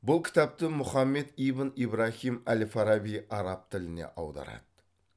бұл кітапты мұхаммет ибн ибраһим әл фараби араб тіліне аударады